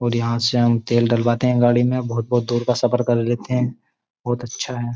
और यहाँ से हम तेल डलवाते हैं गाड़ी में बहुत-बहुत दूर का सफर कर लेते हैं बहुत अच्छा है।